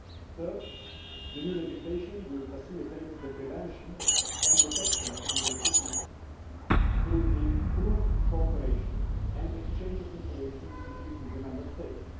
Third, the new legislation will facilitate the prevention and detection of illegal shipments through improved cooperation and exchange of information between the Member States.